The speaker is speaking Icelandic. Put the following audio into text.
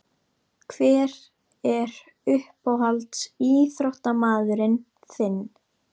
Hver er uppáhalds ÍÞRÓTTAMAÐURINN þinn?